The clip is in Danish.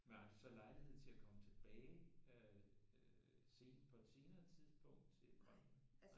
Men har du så lejlighed til at komme tilbage øh sen på et senere tidspunkt til at komme?